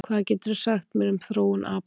hvað geturðu sagt mér um þróun apa